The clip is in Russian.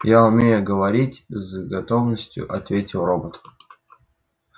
я умею говорить с готовностью ответил робот